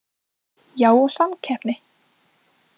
Já og samkeppni.